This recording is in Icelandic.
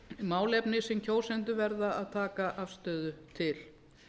málefni sem kjósendur verða að taka afstöðu til